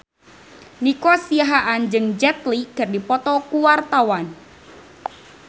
Nico Siahaan jeung Jet Li keur dipoto ku wartawan